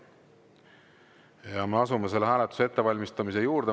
Ja me asume selle hääletuse ettevalmistamise juurde.